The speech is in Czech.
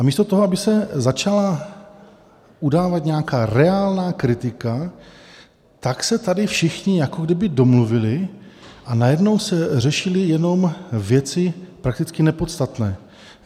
A místo toho, aby se začala udávat nějaká reálná kritika, tak se tady všichni jako kdyby domluvili a najednou se řešily jenom věci prakticky nepodstatné.